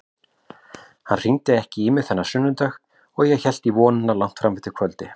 Hann hringdi ekki í mig þennan sunnudag, ég hélt í vonina langt fram á kvöld.